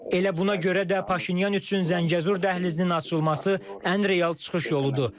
Elə buna görə də Paşinyan üçün Zəngəzur dəhlizinin açılması ən real çıxış yoludur.